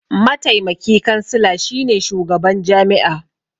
Mataimaki kansila shine shugaban jami'a.